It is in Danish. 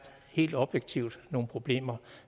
helt objektivt nogle problemer